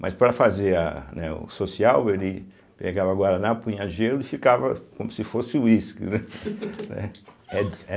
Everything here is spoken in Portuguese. Mas para fazer a né o social, ele pegava Guaraná, punha gelo e ficava como se fosse uísque, né? né